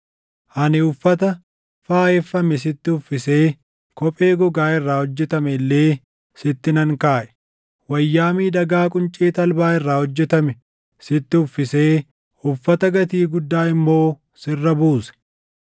Ani uffata faayeffame sitti uffisee kophee gogaa irraa hojjetame illee sitti nan kaaʼe. Wayyaa miidhagaa quncee talbaa irraa hojjetame sitti uffisee uffata gatii guddaa immoo sirra buuse.